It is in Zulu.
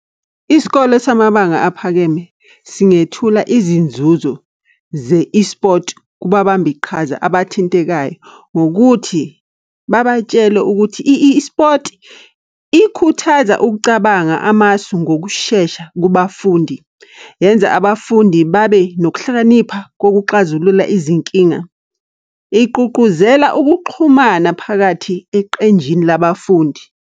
Isikole samabanga aphakeme, singethula izinzuzo ze-eSports kubabambi qhaza abathintekayo ngokuthi, babatshele ukuthi i-eSports ikhuthaza ukucabanga amasu ngokushesha kubafundi. Yenza abafundi babe nokuhlakanipha kokuxazulula izinkinga. Igqugquzela ukuxhumana phakathi eqenjini labafundi.